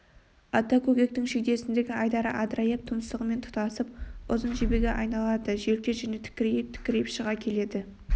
ата көкектің шүйдесіндегі айдары адырайып тұмсығымен тұтасып ұзын жебеге айналады желке жүні тікірейіп-тікірейіп шыға келеді